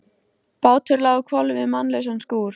Bátur lá á hvolfi við mannlausan skúr.